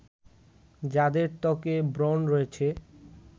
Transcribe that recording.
যাদের ত্বকে ব্রণ রয়েছে